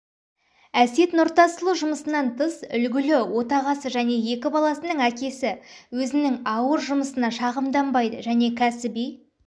әсет нұртасұлы жұмысынан тыс үлгілі отағасы және екі баласының әкесі өзінің ауыр жұмысына шағымданбайды және кәсіби